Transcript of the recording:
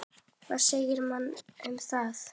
Hvað segja menn um það?